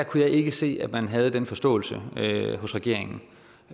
kunne jeg ikke se at man havde den forståelse hos regeringen